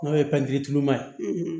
N'o ye pɛntiri tuluma ye